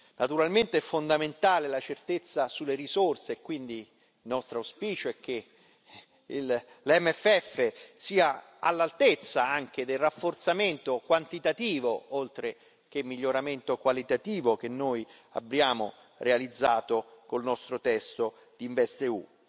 Naturalmente è fondamentale la certezza sulle risorse, quindi nostro auspicio è che l'MFF sia all'altezza anche del rafforzamento quantitativo oltre che miglioramento qualitativo che noi abbiamo realizzato con il nostro testo InvestEU.